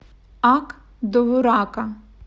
ак довурака